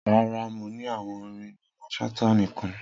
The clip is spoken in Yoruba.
Rara, Mo ni awọn orin Mamman Shata nikan.